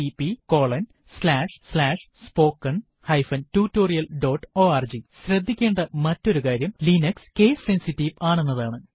httpspoken tutorialorg ശ്രദ്ധിക്കേണ്ട മറ്റൊരുകാര്യം Linux case sensitive ആണെന്നതാണ്